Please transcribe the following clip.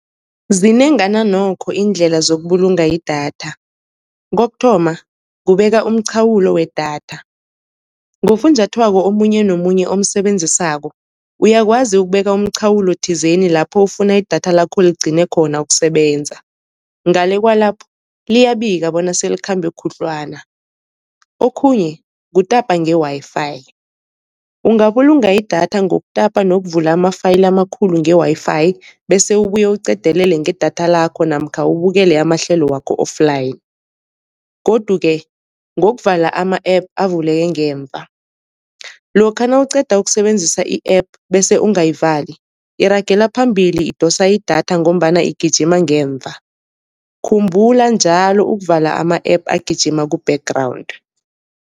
Zinengana nokho iindlela zokubulunga idatha. Kokuthoma kubeka umchawulo wedatha, ngofunjathwako omunye nomunye omsebenzisako uyakwazi ukubeka umchawulo thizeni lapho ufuna idatha lakho ligcine khona ukusebenza, ngale kwalapho liyabika bona selikhambe khudlwana. Okhunye kutapa nge-Wi-Fi, ungabulunga idatha ngokutapa nokuvula ama-file amakhulu nge-Wi-Fi, bese ubuye uqedelele ngedatha lakho namkha ubukele amahlelo wakho offline. Godu-ke ngokuvala ama-app avuleke ngemva, lokha nawuqeda ukusebenzisa i-app, bese ungayivali iragela phambili idosa idatha ngombana igijima ngemva. Khumbula njalo ukuvala ama-app agijima ku-background.